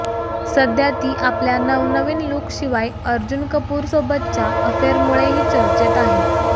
सध्या ती आपल्या नवनवीन लूकशिवाय अर्जुन कपूरसोबतच्या अफेअरमुळेही चर्चेत आहे